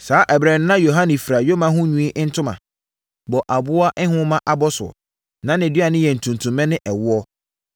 Saa ɛberɛ no na Yohane fira yoma ho nwi ntoma, bɔ aboa nhoma abɔsoɔ. Na nʼaduane yɛ ntutummɛ ne ɛwoɔ.